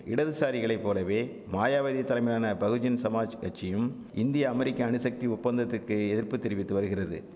இடதுசாரிகளைப்போலவே மாயாவதி தலைமையிலான பகுஜன் சமாஜ் கட்சியும் இந்திய அமெரிக்க அணுசக்தி ஒப்பந்தத்துக்கு எதிர்ப்பு தெரிவித்து வருகிறது